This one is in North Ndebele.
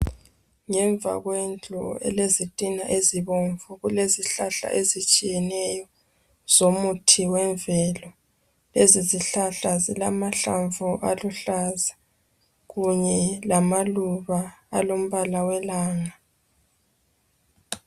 ngemva kwendlu elezitina ezibomvu kulezihlahla ezitshiyeneyo zomuthi wemvelo lezi zihlahla zilamahlamvu aluhlaza kunye lamaluba alombala welanga